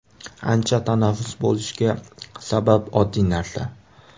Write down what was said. Ancha tanaffus bo‘lishiga sabab oddiy narsa.